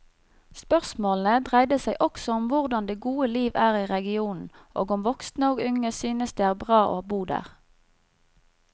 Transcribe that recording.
Spørsmålene dreide seg også om hvordan det gode liv er i regionen og om voksne og unge synes det er bra å bo der.